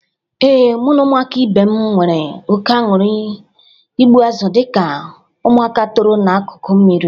Ee, mụ na ụmụaka ibe m nwere oke anụrụ igbu azụ dịka ụmụaka toro n'akụkụ osmiri.